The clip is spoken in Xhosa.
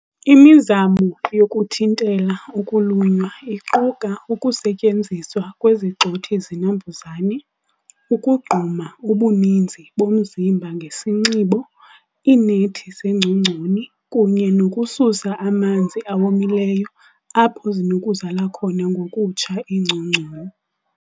Imizamo yokuthintela ukulunywa iquka ukusetyenziswa kwezigxothi-zinambuzane, ukugquma ubuninzi bomzimba ngesinxibo, iinethi zeengcongconi, kunye nokususa amanzi awomileyo apho zinokuzala khona ngokutsha iingcongconi.